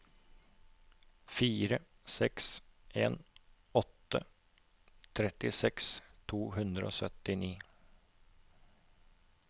fire seks en åtte trettiseks to hundre og syttini